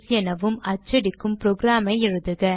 எனவும் அச்சடிக்கும் program ஐ எழுதுக